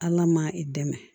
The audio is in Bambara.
Ala ma i dɛmɛ